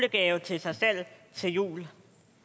gave til sig selv til jul